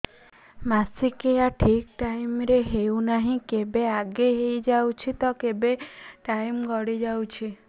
ମାସିକିଆ ଠିକ ଟାଇମ ରେ ହେଉନାହଁ କେବେ ଆଗେ ହେଇଯାଉଛି ତ କେବେ ଟାଇମ ଗଡି ଯାଉଛି